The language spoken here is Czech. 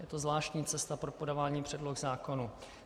Je to zvláštní cesta pro podávání předloh zákonů.